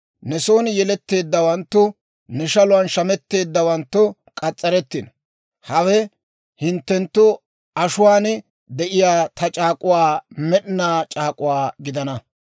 Ne son yeletteeddawanttu ne shaluwaan shamettowanttu k'as's'arettino. Hawe hinttenttu ashuwaan de'iyaa ta c'aak'k'uu med'inaa c'aak'uwaa gidana.